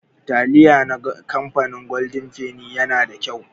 Taliya na kamfanin goldin feni yana da kyau.